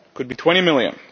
It could be 20 million.